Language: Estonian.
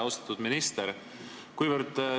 Austatud minister!